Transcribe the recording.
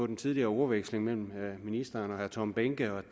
den tidligere ordveksling mellem ministeren og herre tom behnke og